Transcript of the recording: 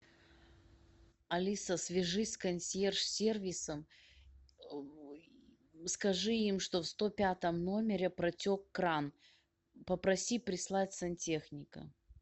алиса свяжись с консьерж сервисом скажи им что в сто пятом номере протек кран попроси прислать сантехника